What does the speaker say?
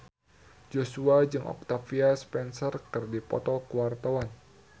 Joshua jeung Octavia Spencer keur dipoto ku wartawan